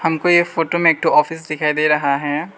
हमको ये फोटो में एक ठो ऑफिस दिखाई दे रहा है।